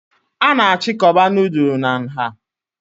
A na-achịkọba nudulu na nha